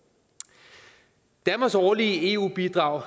danmarks årlige eu bidrag